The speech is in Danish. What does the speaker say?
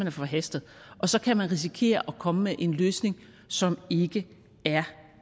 er forhastet og så kan man risikere at komme med en løsning som ikke er